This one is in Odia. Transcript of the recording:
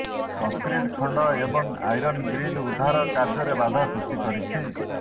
କଙ୍କ୍ରିଟ୍ ଖଣ୍ଡ ଏବଂ ଆଇରନ୍ ଗ୍ରିଲ୍ ଉଦ୍ଧାର କାର୍ଯ୍ୟରେ ବାଧା ସୃଷ୍ଟି କରିଛି